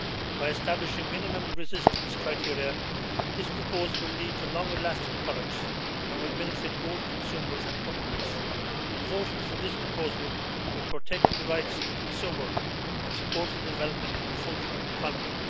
By establishing minimum resistance criteria, this proposal will lead to longer lasting products and will benefit both consumers and companies. In voting for this proposal, we are protecting the rights of the consumer and supporting the development of a functioning economy.